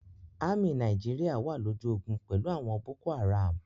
Ámì Nàìjíríà wà lójú ogun pẹ̀lú àwọn Boko-Haram.